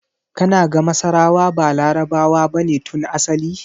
Kana ga masarawa ba Larabawa bane tun asali?